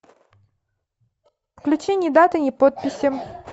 включи ни даты ни подписи